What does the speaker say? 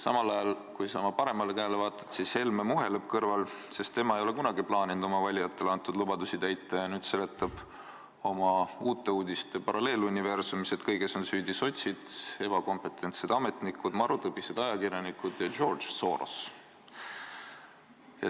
Samal ajal, kui sa oma paremale käele vaatad, siis näed, et Helme muheleb su kõrval, sest tema ei ole kunagi plaaninud oma valitajatele antud lubadusi täita ja nüüd seletab oma Uute Uudiste paralleeluniversumis, et kõiges on süüdi sotsid, ebakompetensed ametnikud, marutõbised ajakirjanikud ja George Soros.